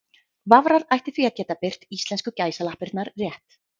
Vafrar ættu því að geta birt íslensku gæsalappirnar rétt.